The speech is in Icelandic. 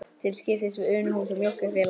Til skiptis við Unuhús og Mjólkurfélagið.